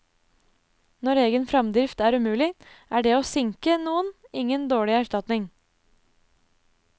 Når egen fremdrift er umulig, er det å sinke noen ingen dårlig erstatning.